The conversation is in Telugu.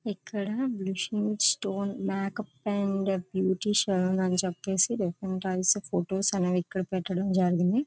ఇక్కడ మంచి మంచి స్టోన్స్ మేకప్ అండ్ బ్యూటీషియల్ అని చెప్పేసి డిఫరెంట్ టైప్స్ ఆఫ్ ఫొటోస్ . అవి ఇక్కడ పెట్టడం జరిగింది.